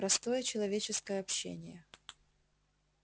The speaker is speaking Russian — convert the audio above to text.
простое человеческое общение